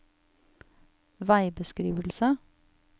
veibeskrivelse